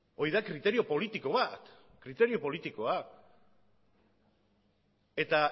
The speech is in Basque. hori da kriterio politiko bat kriterio politikoa eta